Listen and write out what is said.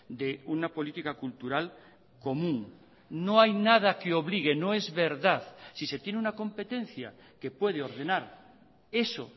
de una política cultural común no hay nada que obligue no es verdad si se tiene una competencia que puede ordenar eso